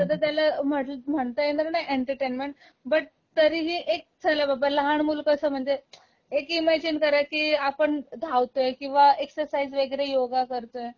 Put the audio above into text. ह्या सगळ्याला म्हणता येणार नाही एंटरटेनमेंट बट तरीही एक चला बाबा लहान मूल कस म्हणजे एक इमॅजिन करा की आपण धावतोय किंवा एक्सरसाईज वैगरे योगा करतोय